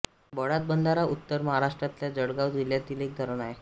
बळाड बंधारा उत्तर महाराष्ट्रातल्या जळगाव जिल्ह्यातील एक धरण आहे